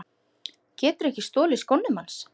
Geturðu ekki stolið skónum hans